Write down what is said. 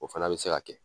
O fana bɛ se ka kɛ